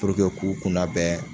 kun kunnabɛn